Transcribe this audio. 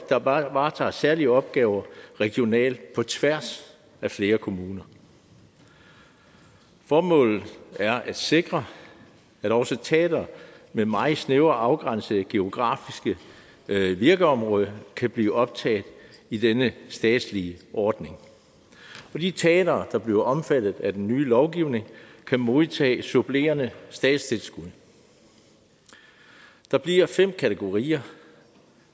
der varetager særlige opgaver regionalt på tværs af flere kommuner formålet er at sikre at også teatre med et meget snævert afgrænset geografisk virkeområde kan blive optaget i denne statslige ordning og de teatre der bliver omfattet af den nye lovgivning kan modtage supplerende statstilskud der bliver fem kategorier